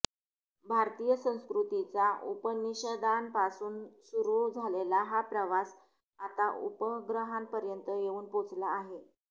भारतीय संस्कृतीचा उपनिषदांपासून सुरू झालेला हा प्रवास आता उपग्रहांपर्यंत येऊन पोहचला आहे